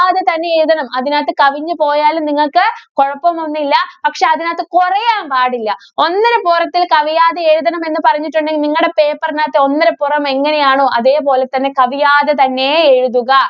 യാതെ തന്നെ എഴുതണം. അതിനകത്ത് കവിഞ്ഞു പോയാലും നിങ്ങക്ക് കൊഴപ്പമൊന്നുമില്ല. പക്ഷേ, അതിനകത്ത് കൊറയാന്‍ പാടില്ല. ഒന്നരപ്പുറത്തില്‍ കവിയാതെ എഴുതണമെന്ന് പറഞ്ഞിട്ടുണ്ടെങ്കില്‍ നിങ്ങടെ paper നകത്ത് ഒന്നരപ്പൊറം എങ്ങനെയാണോ, അതേപോലെ തന്നെ കവിയാതെ തന്നെ എഴുതുക.